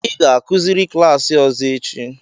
ị ga-akuziri klaasị ọzọ echi!